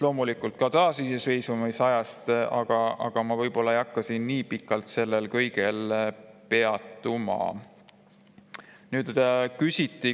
Loomulikult räägiti ka taasiseseisvumisajast, aga ma ei hakka nii pikalt sellel kõigel peatuma.